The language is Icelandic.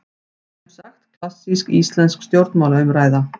Semsagt klassísk íslensk stjórnmálaumræða.